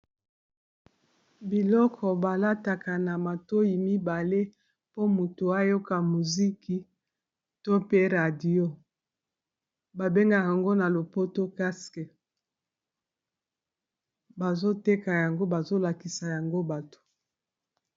Biloko balataka na matoyi mibale mpo motu oyoka muziki to mpe radio ba bengaka ngo na lopoto casque bazoteka yango bazo lakisa yango bato.